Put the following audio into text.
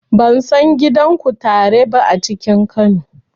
Ban san gidan kutare ba a cikin Kano.